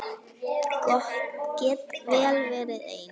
Get vel verið ein.